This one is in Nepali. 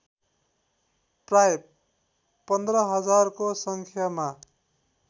प्रायः १५ हजारको सङ्ख्यामा